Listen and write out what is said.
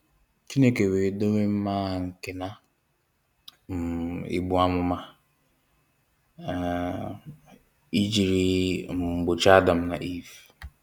Chineke wee dowe mma agha nke na um egbu amụma um i jiri um gbochie Adam na Eve.